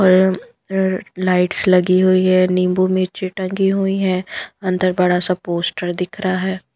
ओएम अ लाइट्स लगी हुई है नींबू मिर्ची टंगी हुई है अंदर बड़ा सा पोस्टर दिख रहा है।